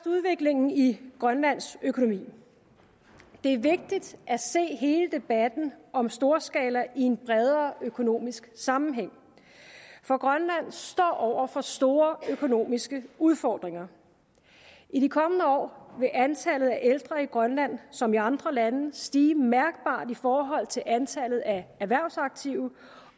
udviklingen i grønlands økonomi det er vigtigt at se hele debatten om storskalaloven i en bredere økonomisk sammenhæng for grønland står over for store økonomiske udfordringer i de kommende år vil antallet af ældre i grønland som i andre lande stige mærkbart i forhold til antallet af erhvervsaktive